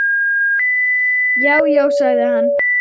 Já, já sagði hann.